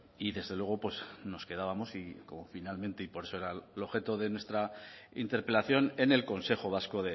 y desde luego pues nos quedábamos y como finalmente y por eso era el objeto de nuestra interpelación en el consejo vasco